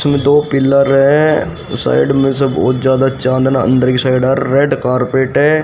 उसमें दो पिलर है साइड में से बहुत ज्यादा चांदना अंदर की साइड रेड कारपेट है।